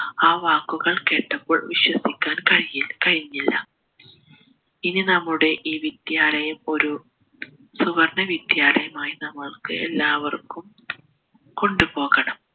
ആ വാക്കുകൾ കേട്ടപ്പോൾ വിശ്വസിക്കാൻ കഴിയി കഴിഞ്ഞില്ല ഇനി നമ്മളുടെ ഈ വിദ്യാലയം ഒരു സുവർണ്ണ വിദ്യാലയമായി നമ്മുൾക്ക് എല്ലാവർക്കും കൊണ്ടു പോകണം